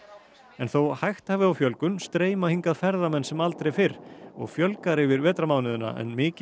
en þó hægt hafi á fjölgun streyma hingað ferðamenn sem aldrei fyrr og fjölgar yfir vetrarmánuði en mikil